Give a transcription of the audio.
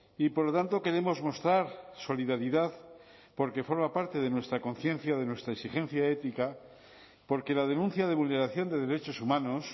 y por lo tanto queremos mostrar solidaridad porque forma parte de nuestra conciencia de nuestra exigencia ética porque la denuncia de vulneración de derechos humanos